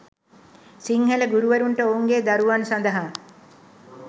සිංහල ගුරුවරුන්ට ඔවුන්ගේ දරුවන් සඳහා